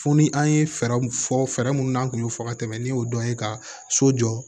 Fo ni an ye fɛɛrɛw fɔ fɛɛrɛ minnu na an tun y'o fɔ ka tɛmɛ n'i y'o dɔn ye ka so jɔ